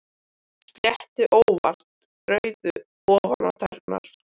Sletti óvart rauðu ofan á tærnar.